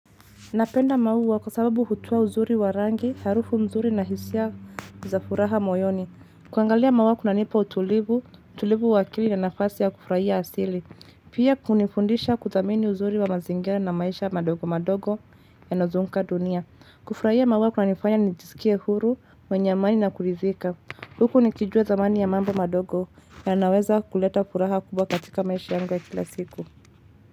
Napenda maua kwa sababu hutoa uzuri warangi, harufu mzuri na hisia za furaha moyoni. Kuangalia maua kunanipa utulivu, tulivu wa akili na nafasi ya kufrahia asili. Pia kunifundisha kuthamini uzuri wa mazingira na maisha madogo madogo yanyozunguka dunia. Kufurahia maua kuna nifanya nijisikia huru, mwenye amani na kurithika. Huku nikijua thamani ya mambo madogo yanaweza kuleta furaha kubwa katika maisha yanga kila siku.